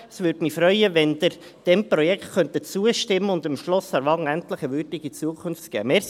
Es würde mich freuen, wenn Sie diesem Projekt zustimmen könnten und dem Schloss Aarwangen endlich eine würdige Zukunft geben.